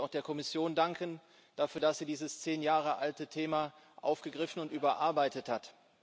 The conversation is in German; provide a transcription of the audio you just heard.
Ich möchte auch der Kommission dafür danken, dass sie dieses zehn Jahre alte Thema aufgegriffen und überarbeitet hat.